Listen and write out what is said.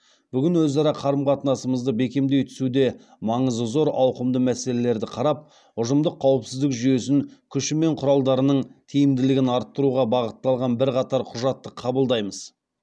бүгін өзара қарым қатынасымызды бекемдей түсуде маңызы зор ауқымды мәселелерді қарап ұжымдық қауіпсіздік жүйесін күші мен құралдарының тиімділігін арттыруға бағытталған бірқатар құжатты қабылдаймыз